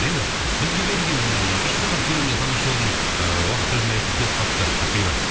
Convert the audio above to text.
енді бізге берілген үш сағат көлемде таңғы шоудың ыыы уақыты өз мәресіне келіп қалыпты ақбибі